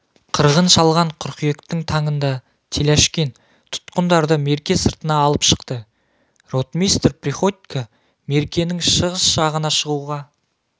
қырғын шалған қыркүйектің таңында теляшкин тұтқындарды мерке сыртына алып шықты ротмистр приходько меркенің шығыс жағына шығуға